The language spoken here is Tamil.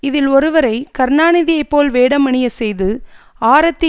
இதில் ஒருவரை கருணாநிதியை போல் வேடமணிய செய்து ஆரத்தி